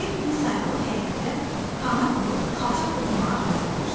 Bir gün Sayalı həyətdə hana qurub xalça toxumağa hazırlaşır.